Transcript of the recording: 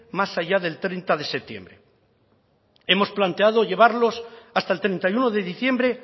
más allá del treinta de septiembre hemos planteado llevarlos hasta el treinta y uno de diciembre